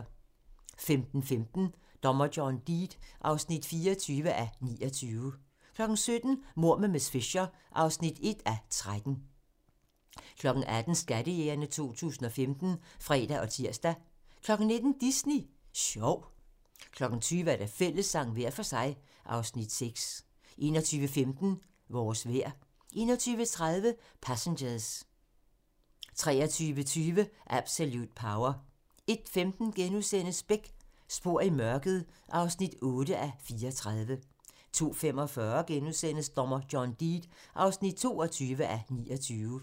15:15: Dommer John Deed (24:29) 17:00: Mord med miss Fisher (1:13) 18:00: Skattejægerne 2015 (fre og tir) 19:00: Disney Sjov 20:00: Fællessang – hver for sig (Afs. 6) 21:15: Vores vejr 21:30: Passengers 23:20: Absolute Power 01:15: Beck: Spor i mørket (8:34)* 02:45: Dommer John Deed (22:29)*